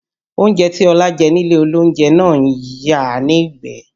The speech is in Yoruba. Oúnjẹ tí Ọlá jẹ nílé olóúnjẹ ń yàá nígbẹ̀ẹ́